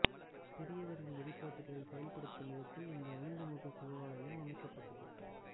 பெரியவரின் வழிகாட்டுதலை செயல்படுத்தும் விதத்தில் இங்கு ஐந்து முகச் சிவாலயம் அமைக்கப்பட்டது